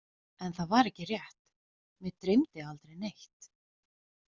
En það var ekki rétt, mig dreymdi aldrei neitt.